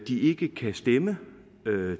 ikke kan stemme